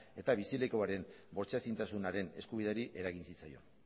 eta bizilekuaren bortxaezintasunaren eskubideri eragin zitzaion